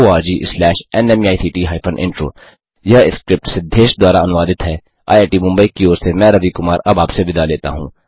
httpspoken tutorialorgNMEICT Intro यह script Siddhesh द्वारा अनुवादित है आईआईटी मुंबई की ओर से मैं रवि कुमार अब आपसे विदा लेता हूँ